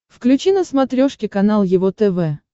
включи на смотрешке канал его тв